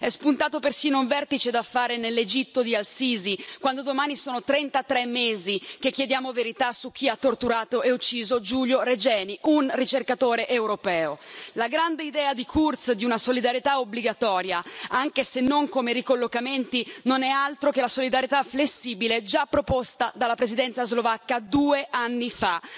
È spuntato persino un vertice da fare nell'Egitto di Al Sisi, quando domani sono 33 mesi che chiediamo verità su chi ha torturato e ucciso Giulio Regeni, un ricercatore europeo. La grande idea del cancelliere Kurz di una solidarietà obbligatoria, anche se non come ricollocamenti, non è altro che la solidarietà flessibile già proposta dalla Presidenza slovacca due anni fa.